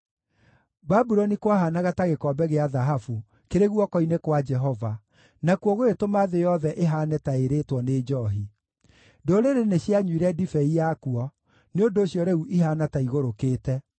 Babuloni kwahaanaga ta gĩkombe gĩa thahabu kĩrĩ guoko-inĩ kwa Jehova; nakuo gũgĩtũma thĩ yothe ĩhaane ta ĩrĩĩtwo nĩ njoohi. Ndũrĩrĩ nĩcianyuire ndibei yakuo; nĩ ũndũ ũcio rĩu ihaana ta igũrũkĩte.